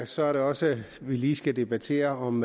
så er det også at vi lige skal debattere om